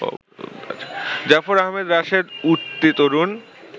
জাফর আহমদ রাশেদ উঠতি তরুণ